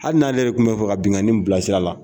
Hali n'ale yɛrɛ de tun bɛ fɛ ka binkani in bilasira la.